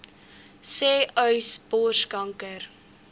sê uys borskanker